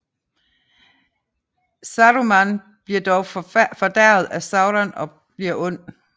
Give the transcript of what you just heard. Saruman bliver dog fordærvet af Sauron og bliver ond